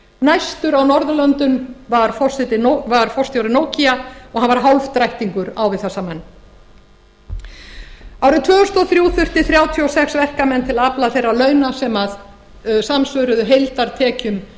næstur á norðurlöndum var forstjóri nokia og hann var hálfdrættingur á við þessa menn árið tvö þúsund og þrjú þurfti þrjátíu og sex verkamenn til að afla þeirra launa sem samsvöruðu heildartekjum